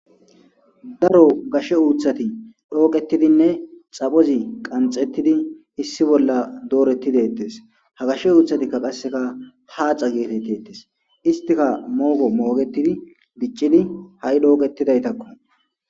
Daro gashe uuthati dhooqetidinne xaphozi qanxettidi issi bolla doorettidettes ha gashe uuthatikka qasseka haaxa geetettetes istika moogo moogetidi giccidi ha'i dhooqetidaytakko.